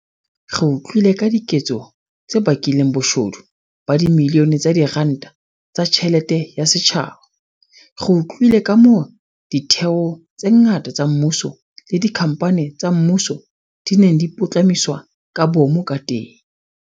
Re utlwile ka diketso tse bakileng boshodu ba dibilione tsa diranta tsa tjhelete ya setjhaba. Re utlwile kamoo ditheo tse ngata tsa mmuso le dikhamphani tsa mmuso di neng di putlamiswa ka boomo kateng.